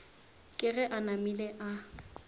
ke ge e namile a